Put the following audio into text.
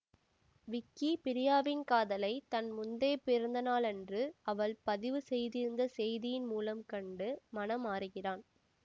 விக்கி பிரியாவின் காதலை தன் முந்தைய பிறந்த நாளன்று அவள் பதிவுசெய்திருந்த செய்தியின் மூலம் கண்டு மனம் மாறுகிறான்